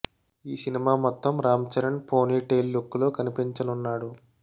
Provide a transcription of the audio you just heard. ఈ సినిమా మొత్తం Ram Charan pony tail look లో కనిపించనున్నాడు